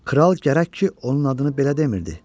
"Kral gərək ki, onun adını belə demirdi.